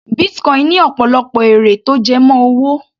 Bitcoin ní ọ̀pọ̀lọpọ̀ èrè tó jẹ mọ́ owó.